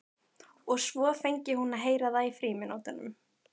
Og svo fengi hún að heyra það í frímínútunum.